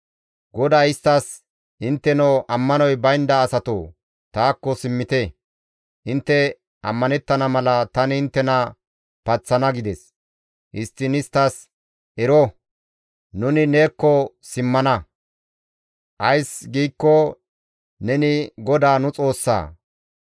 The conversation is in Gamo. Istti, «Intteno ammanoy baynda asatoo! Taakko simmite. Intte ammanettana mala, tani inttena paththana» gides. Histtiin isttas, «Ero, nuni neekko simmana. Ays giikko neni GODAA nu Xoossa.